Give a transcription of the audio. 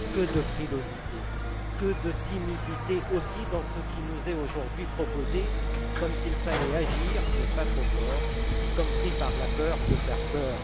Que de frilosité, que de timidité aussi dans ce qui nous est aujourd'hui proposé, comme s'il fallait agir, mais pas trop fort, comme pris par la peur de faire peur.